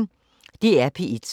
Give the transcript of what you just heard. DR P1